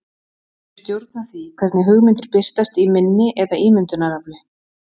Þau stjórna því hvernig hugmyndir birtast í minni eða ímyndunarafli.